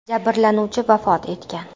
Jabrlanuvchi vafot etgan.